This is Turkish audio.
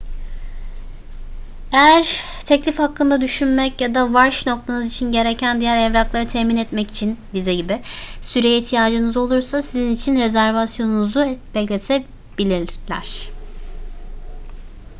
eğer teklif hakkında düşünmek ya da varş noktanız için gereken diğer evrakları temin etmek için vize gibi süreye ihtiyacınız olursa sizin için rezervasyonunuzu bekletebilirler